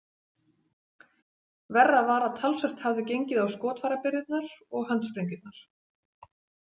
Verra var að talsvert hafði gengið á skotfærabirgðirnar og handsprengjurnar.